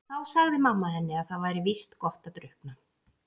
En þá sagði mamma henni að það væri víst gott að drukkna.